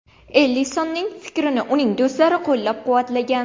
Ellisonning fikrini uning do‘stlari qo‘llab-quvvatlagan.